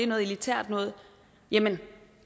noget elitært noget jamen